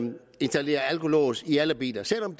installere alkolås i alle biler selv om